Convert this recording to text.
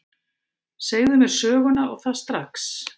Segðu mér söguna, og það strax.